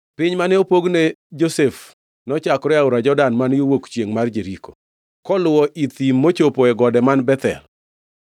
Piny mane opog ne Josef nochakore Aora Jordan man yo wuok chiengʼ mar Jeriko, koluwo i thim mochopo e gode man Bethel.